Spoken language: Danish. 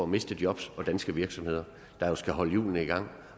miste job og danske virksomheder der jo skal holde hjulene i gang